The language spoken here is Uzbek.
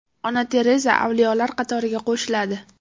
Ona Tereza avliyolar qatoriga qo‘shiladi.